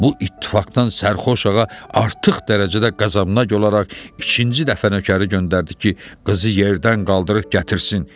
Bu ittifaqdan sərxoş ağa artıq dərəcədə qəzəbinə gələrək ikinci dəfə nökəri göndərdi ki, qızı yerdən qaldırıb gətirsin.